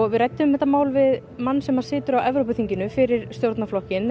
við ræddum þetta mál við mann sem situr á Evrópuþinginu fyrir stjórnarflokkinn